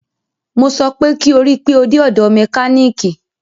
Mo sọ pé kí o rí pe o dé ọ̀dọ̀ mẹkánìkì!